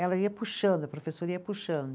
Ela ia puxando, a professora ia puxando.